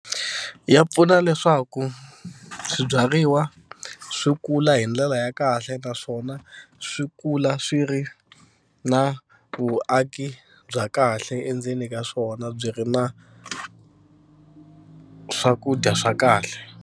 Ya pfuna leswaku swibyariwa swi kula hi ndlela ya kahle naswona swi kula swi ri na vuaki bya kahle endzeni ka swona byi ri na swakudya swa kahle.